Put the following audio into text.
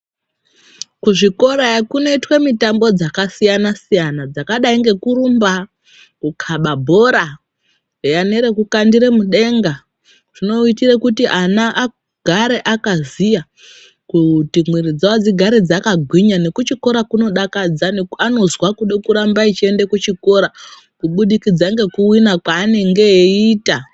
Kuzvikorayo kundoitwa mitambo dzakasiyana siyana dzakadai ngekurumba kukaba bhora nerekukandira mudenga zvinoita kuti ana agare akaziya kuti mwiri dzavo dzigare dzakagwinya nekuchikora kunodakadza anozwa kuda kuramba eienda kuchikora kubudikidza ngekuwina kwaanenge eiita.